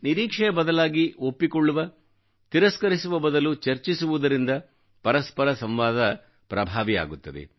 ನಿರೀಕ್ಷೆಯ ಬದಲಾಗಿ ಒಪ್ಪಿಕೊಳ್ಳುವ ತಿರಸ್ಕರಿಸುವ ಬದಲು ಚರ್ಚಿಸುವುದರಿಂದ ಪರಸ್ಪರಸಂವಾದ ಪ್ರಭಾವಿ ಆಗುತ್ತದೆ